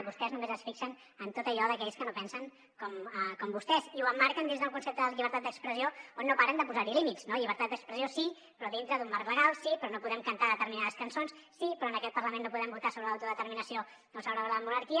vostès només es fixen en tot allò d’aquells que no pensen com vostès i ho emmarquen dins d’un concepte de llibertat d’expressió on no paren de posar límits no llibertat d’expressió sí però dintre d’un marc legal sí però no podem cantar determinades cançons sí però en aquest parlament no podem votar sobre l’autodeterminació o sobre la monarquia